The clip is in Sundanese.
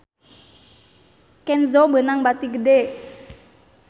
Kenzo meunang bati gede